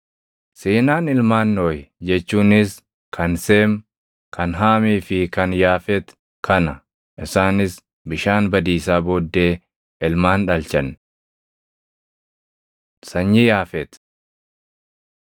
Seenaan ilmaan Nohi jechuunis kan Seem, kan Haamii fi kan Yaafet kana; isaanis bishaan badiisaa booddee ilmaan dhalchan. Sanyii Yaafeti 10:2‑5 kwf – 1Sn 1:5‑7